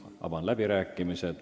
Avan läbirääkimised.